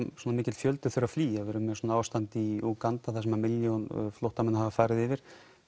svona mikill fjöldi þurfi að flýja því við erum með svona ástand í Úganda þar sem milljón flóttamanna hafa farið yfir